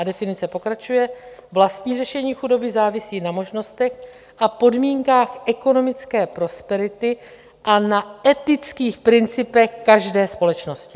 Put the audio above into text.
A definice pokračuje: "Vlastní řešení chudoby závisí na možnostech a podmínkách ekonomické prosperity a na etických principech každé společnosti."